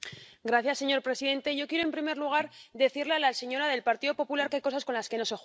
Señor presidente, yo quiero, en primer lugar, decirle a la señora del Partido Popular qué hay cosas con las que no se juega.